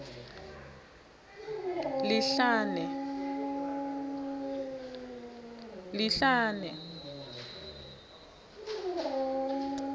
lihlane